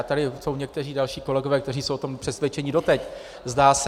A tady jsou někteří další kolegové, kteří jsou o tom přesvědčeni doteď, zdá se.